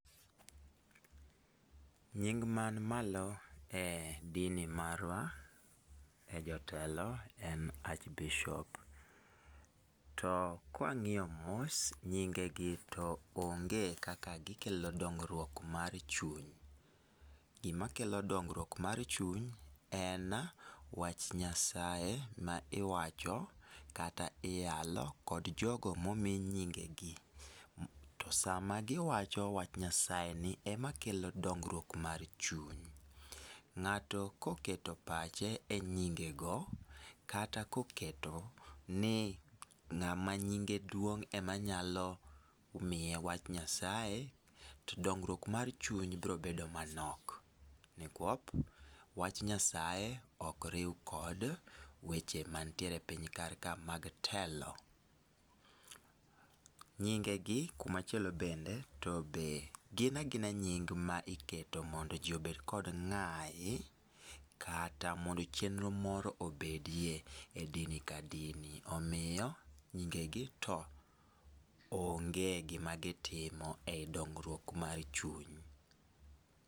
Nying man malo e dini marwa, e jotelo en Archbishop. To kwang'iyo mos, nyinge gi to onge kaka gikelo dongruok mar chuny. Gimakelo dongruok mar chuny en, wach Nyasaye ma iwacho kata iyalo kod jogo momii nyinge gi. To sama giwacho wach Nyasaye ni, ema kelo dongruok mar chuny. Ng'ato koketo pache e nyinge go, kata koketo ni ng'ama nyinge duong' ema nyalo miye wach Nyasaye, to dongruok mar chuny biro bedo manok. Nikwop, wach Nyasaye okriw kod weche mantiere e Piny kar kae mag telo. Nyinge gi kumachielo bende, to be gin agina nying ma iketo mondo ji obed kod ng'ayi, kata mondo chenro moro obedie e dini ka dini. Omiyo, nyinge gi to onge gima gitimo ei dongruok mar chuny.